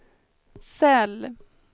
cell